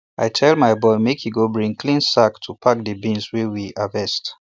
i tell my boy make e go bring clean sack to take pack di beans wey we harvest